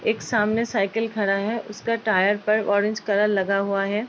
एक सामने साइकिल खड़ा है उसका टायर पर ऑरेंज कलर लगा हुआ है।